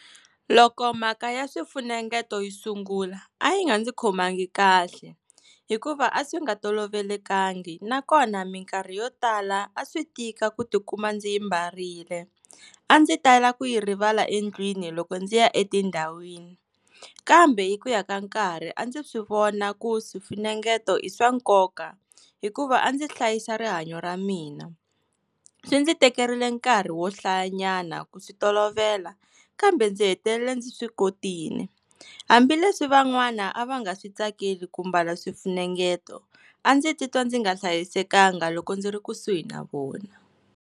Loko mhaka ya swifunengeto yi sungula a yi nga ndzi khomangi kahle, hikuva a swi nga tolovelekangi, nakona mikarhi yo tala a swi tika ku tikuma ndzi yi mbarile, a ndzi tala ku yi rivala endlwini loko ndzi ya etindhawini. Kambe hi ku ya ka nkarhi a ndzi swivona ku swifunengeto i swa nkoka, hikuva a ndzi hlayisa rihanyo ra mina. Swi ndzi tekerile nkarhi wo hlayanyana ku swi tolovela, kambe ndzi hetelela ndzi swi kotile. Hambileswi van'wana a va nga switsakeli ku mbala swifunengeto a ndzi titwa ndzi nga hlayisekanga loko ndzi ri kusuhi na vona.